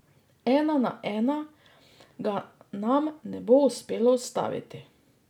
Ena na ena ga nam ne bo uspelo ustaviti.